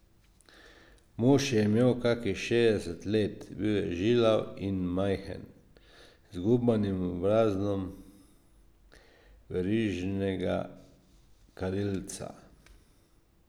Mož je imel kakih šestdeset let, bil je žilav in majhen, z zgubanim obrazom verižnega kadilca.